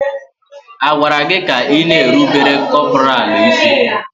A gwara gị ka ị na-erubere kọpọraalụ isí!